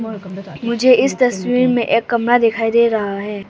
मुझे इस तस्वीर में एक कमरा दिखाई दे रहा है।